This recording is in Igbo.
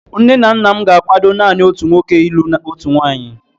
Nne nna m ga-akwado naanị otu nwoke ilụ otu nwaanyị.